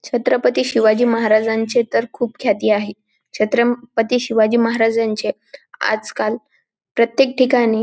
छत्रपती शिवाजी महाराजांची तर खूप ख्याती आहे छत्रपती शिवाजी महाराजांचे आजकाल प्रत्येक ठिकाणी --